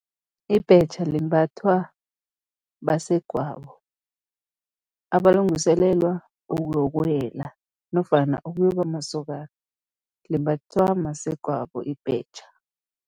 Ibhetjha limbathwa basegwabo abalungiselelwa ukuyokuwela nofana ukuyoba mamasokana, limbathwa masegwabo ibhetjha.